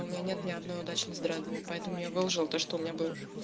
у меня нет ни одной удачной с дредами поэтому я выложил то что у меня было